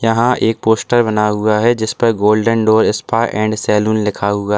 यहां एक पोस्टर बना हुआ है जिस पर golden door spa and salon लिखा हुआ--